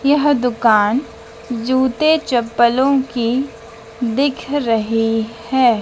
यह दुकान जूते चप्पलों की दिख रही है।